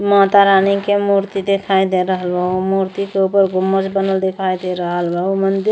माता रानी के मूर्ति दिखाई दे रहल बा। उ मूर्ति के ऊपर गुम्बज बनल दिखाई दे रहल बा। उ मंदिर --